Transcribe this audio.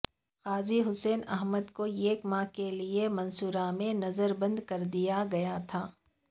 قاضی حسین احمد کوایک ماہ کے لیے منصورہ میں نظر بند کردیا گیاتھا